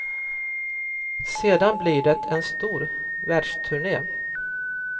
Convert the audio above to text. Sedan blir det en stor världsturné.